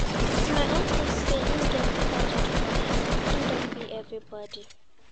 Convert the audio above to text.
My uncle say im get project for hand, im don bill everybodi.